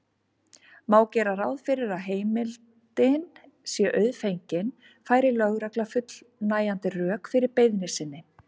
Má gera ráð fyrir að heimildin sé auðfengin færi lögregla fullnægjandi rök fyrir beiðni sinni.